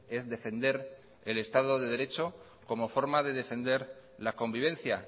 es defender el estado de derecho como forma de defender la convivencia